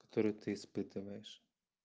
которые ты испытываешь